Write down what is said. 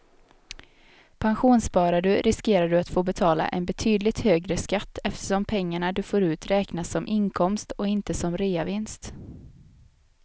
Pensionssparar du riskerar du att få betala en betydligt högre skatt eftersom pengarna du får ut räknas som inkomst och inte som reavinst.